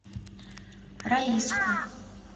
раиску